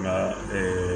Nka